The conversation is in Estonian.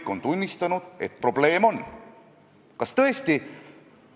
Ma olen siin saalis korduvalt öelnud, et absoluutselt kõik oskavad minust paremini eesti keelt kirjutada.